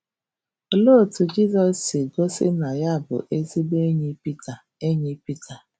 Olee otú Jizọs si gosi na ya bụ ezigbo enyi Pita enyi Pita?